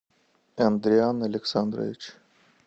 андриан александрович